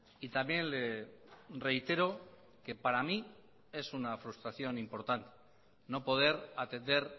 y también le reitero que para mí es una frustración importante no poder atender